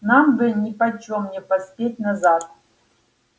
нам бы нипочём не поспеть назад